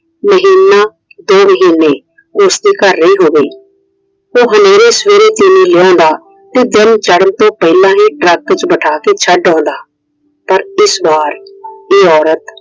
ਮਹੀਨਾ ਦੋ ਮਹੀਨੇ ਉਸਦੇ ਘਰ ਰਹੀ ਹੋਵੇ। ਉਹ ਹਨੇਰੇ ਸਵੇਰੇ ਤੀਵੀਂ ਲੈ ਆਉਂਦਾ। ਤੇ ਦਿਨ ਚੜਨ ਤੋਂ ਪਹਿਲਾ ਹੀ Truck ਚ ਬਿਠਾ ਕੇ ਛੱਡ ਆਉਂਦਾ। ਪਰ ਇਸ ਵਾਰ ਇਹ औरत